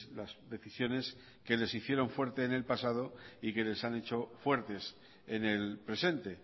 las decisiones que les hicieron fuertes en el pasado y que les han hecho fuertes en el presente